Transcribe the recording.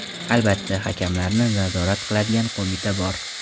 Albatta, hakamlarni nazorat qiladigan qo‘mita bor.